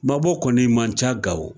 Mabɔ kɔni man ca gawo